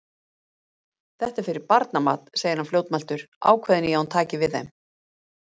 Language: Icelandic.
Þetta er fyrir barnamat, segir hann fljótmæltur, ákveðinn í að hún taki við þeim.